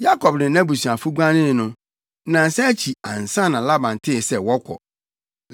Yakob ne nʼabusuafo guanee no, nnansa akyi ansa na Laban tee sɛ wɔkɔ.